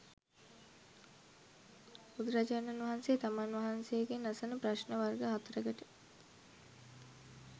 බුදුරජාණන් වහන්සේ තමන් වහන්සේගෙන් අසන ප්‍රශ්න වර්ග හතරකට